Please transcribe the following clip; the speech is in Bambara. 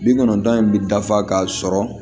Bi kɔnɔntɔn in bi dafa ka sɔrɔ